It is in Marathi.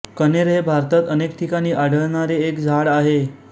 कण्हेर हे भारतात अनेक ठिकाणी आढळणारे एक झाड आहे